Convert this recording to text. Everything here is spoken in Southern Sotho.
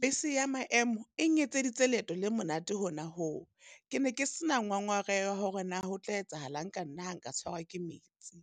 Bese ya maemo eng etseditse leeto le monate hona ho, ke ne ke sena ngongoreho ya hore na ho tla etsahalang ka nna ha nka tshwarwa ke metsi,